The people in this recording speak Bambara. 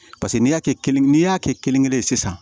Paseke n'i y'a kɛ kelen n'i y'a kɛ kelen kelen ye sisan